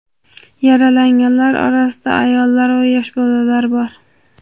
Yaralanganlar orasida ayollar va yosh bolalar bor.